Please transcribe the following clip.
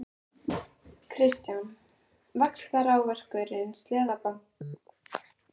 Kristján: Vaxtaákvörðun Seðlabankans, truflar hún ykkur?